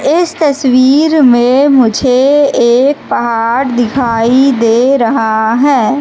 इस तस्वीर में मुझे एक पहाड़ दिखाई दे रहा हैं।